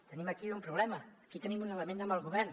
tenim aquí un problema aquí tenim un element amb el govern